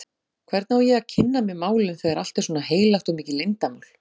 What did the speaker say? Hvernig á ég að kynna mér málin, þegar allt er svona heilagt og mikið leyndarmál?